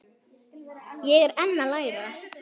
Ég er enn að læra.